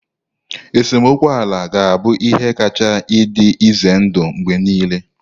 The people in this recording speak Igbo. Esemokwu ala ga-abụ ihe kacha dị ize ndụ mgbe niile